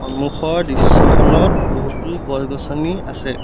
সন্মুখৰ দৃশ্যখনত বহুতো গছ গছনি আছে।